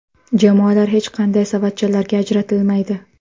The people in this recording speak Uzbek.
Jamoalar hech qanday savatchalarga ajratilmaydi.